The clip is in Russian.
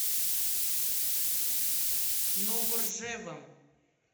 новоржевом